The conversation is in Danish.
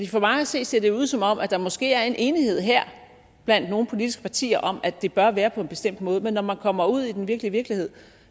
for mig at se ser det ud som om der måske her er en enighed blandt nogle politiske partier om at det bør være på en bestemt måde men når man kommer ud i den virkelige virkelighed